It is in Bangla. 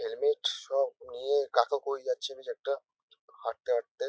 হেলমেট সব নিয়ে কাকা কোই যাচ্ছেন কিছু একটা হাঁটতে হাঁটতে।